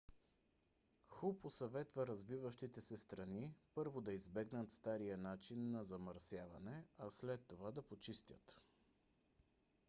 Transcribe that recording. ху посъветва развиващите се страни първо да избегнат стария начин на замърсяване а след това да почистят